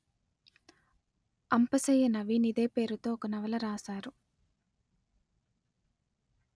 అంపశయ్య నవీన్ ఇదే పేరుతో ఒక నవల రాశారు